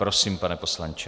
Prosím, pane poslanče.